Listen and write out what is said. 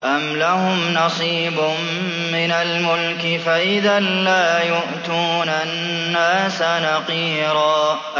أَمْ لَهُمْ نَصِيبٌ مِّنَ الْمُلْكِ فَإِذًا لَّا يُؤْتُونَ النَّاسَ نَقِيرًا